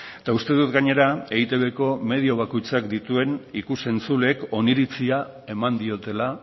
eta uste dut gainera eitbko medio bakoitzak dituen ikus entzuleek oniritzia eman diotela